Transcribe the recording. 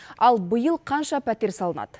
ал биыл қанша пәтер салынады